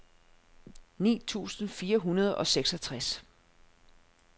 ni tusind fire hundrede og seksogtres